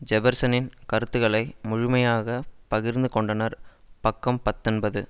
ஜெபர்சனின் கருத்துக்களை முழுமையாக பகிர்ந்து கொண்டனர் பக்கம் பத்தொன்பது